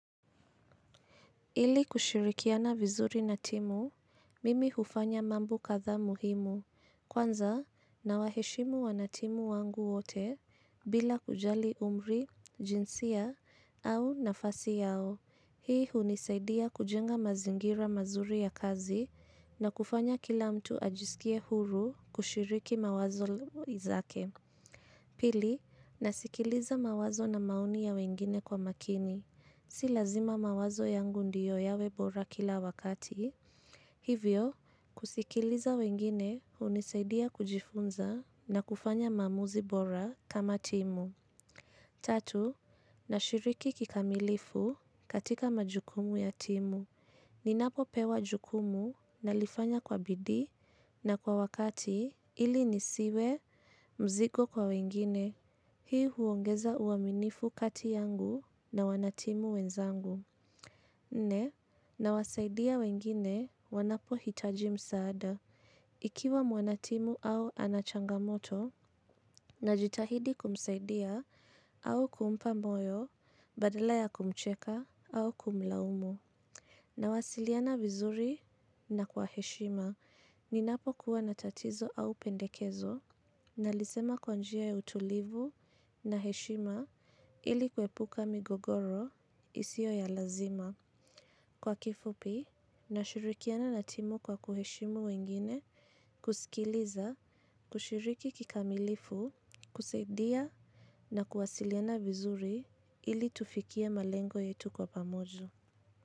Ili kushirikiana vizuri na timu, mimi hufanya mambo katha muhimu, kwanza na waheshimu wanatimu wangu wote bila kujali umri, jinsia au nafasi yao. Hii hunisaidia kujenga mazingira mazuri ya kazi na kufanya kila mtu ajiskie huru kushiriki mawazo zake. Pili, nasikiliza mawazo na maoni ya wengine kwa makini. Si lazima mawazo yangu ndio yawe bora kila wakati. Hivyo, kusikiliza wengine hunisaidia kujifunza na kufanya maamuzi bora kama timu. Tatu, nashiriki kikamilifu katika majukumu ya timu. Ninapo pewa jukumu nalifanya kwa bidii na kwa wakati ili nisiwe mzigo kwa wengine. Hii huongeza uaminifu kati yangu na wanatimu wenzangu nne nawasaidia wengine wanapohitaji msaada. Ikiwa wanatimu au anachangamoto, najitahidi kumsaidia au kumpa moyo badala ya kumcheka au kumlaumu. Nawasiliana vizuri na kwa heshima. Ninapokuwa na tatizo au pendezo nalisema kwa njia tulivu na heshima ilikuepuka migogoro isio ya lazima. Kwa kifupi, nashirikiana na timu kwa kuheshimu wengine, kusikiliza, kushiriki kikamilifu, kusaidia na kuwasiliana vizuri ili tufikie malengo yetu kwa pamoja.